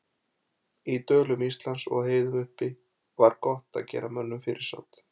Í dölum Íslands og á heiðum uppi var gott að gera mönnum fyrirsát.